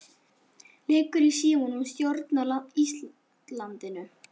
Liggurðu í símanum og stjórnar Íslandinu?